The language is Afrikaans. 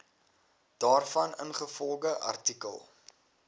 daarvan ingevolge artikel